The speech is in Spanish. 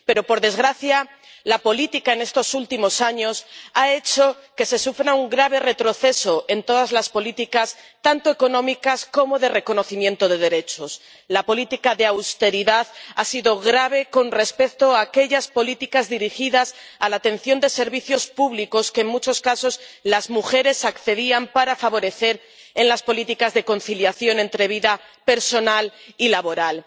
Pero, por desgracia, la política en estos últimos años ha hecho que se sufra un grave retroceso en todas las políticas, tanto económicas como de reconocimiento de derechos. La política de austeridad ha sido grave con respecto a aquellas políticas dirigidas a la atención de servicios públicos a los que, en muchos casos, las mujeres accedían para favorecer las políticas de conciliación entre vida personal y laboral.